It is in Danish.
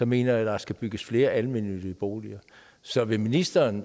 mener at der skal bygges flere almennyttige boliger så vil ministeren